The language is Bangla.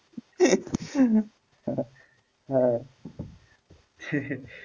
হ্যাঁ,